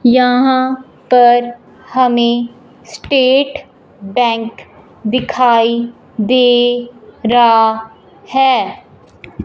यहां पर हमें स्टेट बैंक दिखाई दे रहा है।